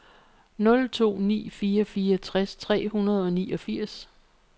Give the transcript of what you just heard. nul to ni fire fireogtres tre hundrede og niogfirs